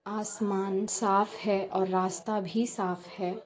आसमान साफ है और रास्ता भी साफ है।